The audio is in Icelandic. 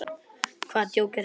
Hvaða djók er þetta?